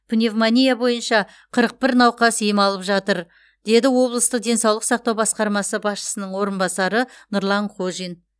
пневмония бойынша қырық бір науқас ем алып жатыр деді облыстық денсаулық сақтау басқармасы басшысының орынбасары нұрлан қожин